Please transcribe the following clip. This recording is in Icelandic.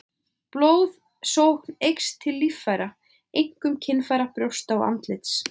Blóðsókn eykst til líffæra, einkum kynfæra, brjósta og andlits.